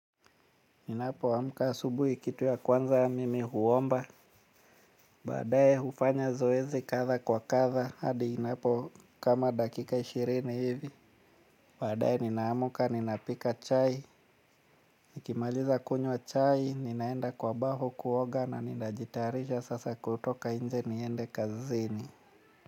Ninapoamka asubuhi kitu ya kwanza mimi huomba. Baadaye hufanya zoezi kadha kwa kadha hadi inapo kama dakika ishirini hivi. Baadaye ninaamka ninapika chai. Nikimaliza kunywa chai ninaenda kwa bafu kuoga na ninajitarisha sasa kutoka nje niende kazini.